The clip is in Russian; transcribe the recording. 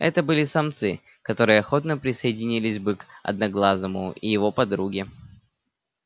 это были самцы которые охотно присоединились бы к одноглазому и его подруге